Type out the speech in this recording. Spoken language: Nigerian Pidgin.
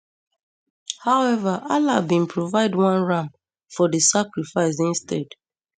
however allah bin provide one ram for di sacrifice instead